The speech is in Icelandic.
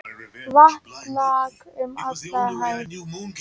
Vatn lak um alla hæð.